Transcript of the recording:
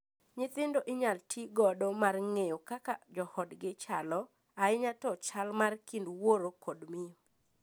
Nyithindo inyal tii godo mar ng’eyo kaka joodgi chalo, ahinya to chal mar kind wuoro kod miyo.